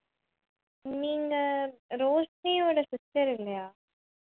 நீங்க ரோஷ்னியோட sister இல்லையா